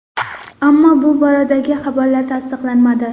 Ammo bu boradagi xabarlar tasdiqlanmadi.